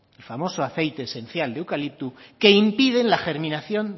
el famoso aceite esencial de eucalipto que impide la germinación